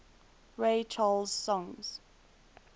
ray charles songs